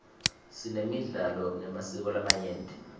sinemidlalo nemasiko lamanyenti